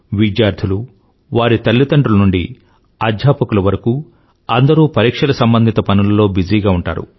విద్యార్థులు వారి తల్లిదండ్రుల నుండి అధ్యాపకుల వరకూ అందరూ పరీక్షల సంబంధిత పనులలో బిజీగా ఉంటారు